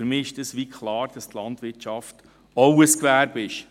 Für mich ist klar, dass die Landwirtschaft auch ein Gewerbe ist.